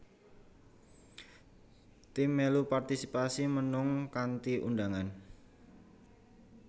Tim mèlu partisipasi mnung kanthi undhangan